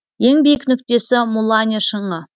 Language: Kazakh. ең биік нүктесі муланье шыңы